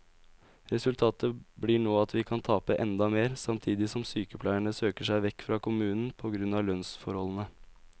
Resultatet blir nå at vi kan tape enda mer, samtidig som sykepleierne søker seg vekk fra kommunen på grunn av lønnsforholdene.